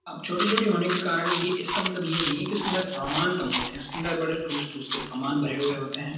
अब छोटी-छोटी होने के कारण ये इसका मतलब ये नहीं है कि उसके अंदर सामान कम होते हैं उसके अंदर बड़े टूस-टूस के बड़े सामान भरे हुए होते हैं|